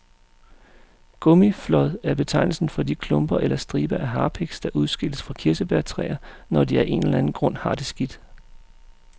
Gummiflåd er betegnelsen for de klumper eller striber af harpiks, der udskilles fra kirsebærtræer, når de af en eller anden grund har det skidt.